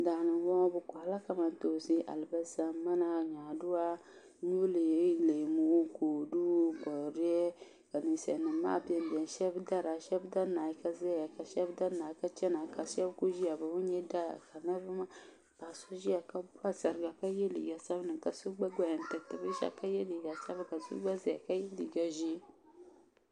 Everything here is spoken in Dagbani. daani m-bɔŋɔ bɛ kɔhiri la kamantoo-si alibalisa mana nyaadu-a ny-uli leemu kodu boodiyɛ ka ninsalinima maa beni beni shɛba dari a shɛba da n-naai ka zaya ka shɛba da n-naai ka chana ka shɛba kuli ʒiya bɛ bi nya daa k---a-- so ʒiya ka pa sariga ka ye liiga sabin-li ka so gba gbaya n-tiri ti binshɛɣu ka ye liiga sabin-li ka so gba gbaya ka ye liiga ʒee